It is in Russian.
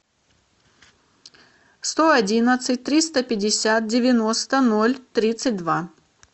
сто одиннадцать триста пятьдесят девяносто ноль тридцать два